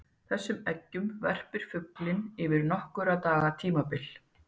þessum eggjum verpir fuglinn yfir nokkurra daga tímabil